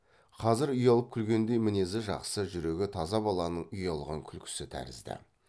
қазір ұялып күлгендей мінезі жақсы жүрегі таза баланың ұялған күлкісі тәрізді